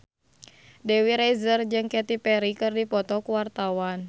Dewi Rezer jeung Katy Perry keur dipoto ku wartawan